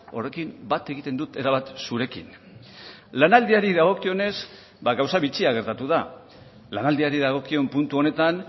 horrekin bat egiten dut erabat zurekin lanaldiari dagokionez ba gauza bitxia gertatu da lanaldiari dagokion puntu honetan